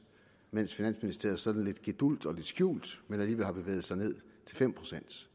mens finansministeriet sådan lidt gedulgt lidt skjult men alligevel har bevæget sig ned til fem procent